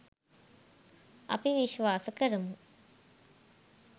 අපි විශ්වාස කරමු.